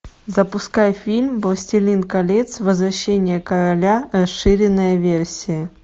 запускай фильм властелин колец возвращение короля расширенная версия